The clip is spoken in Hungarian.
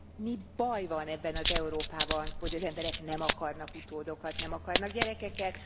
Mi baj van ebben az Európában, hogy az emberek nem akarnak utódokat, nem akarnak gyerekeket?